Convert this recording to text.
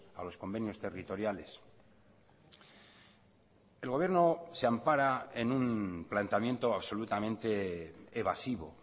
a los convenios territoriales el gobierno se ampara en un planteamiento absolutamente evasivo